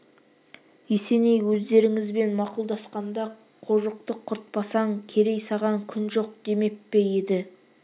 есеней өздеріңізбен мақұлдасқанда қожықты құртпасаң керей саған күн жоқ демеп пе еді